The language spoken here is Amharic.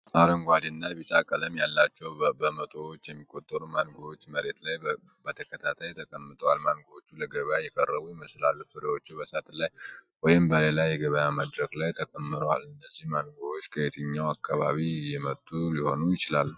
አረንጓዴ እና ቢጫ ቀለም ያላቸው በመቶዎች የሚቆጠሩ ማንጎዎች መሬት ላይ በተከታታይ ተቀምጠዋል። ማንጎዎቹ ለገበያ የቀረቡ ይመስላሉ። ፍሬዎቹ በሳጥን ላይ ወይም በሌላ የገበያ መድረክ ላይ ተከምረዋል። እነዚህ ማንጎዎች ከየትኛው አካባቢ የመጡ ሊሆኑ ይችላሉ?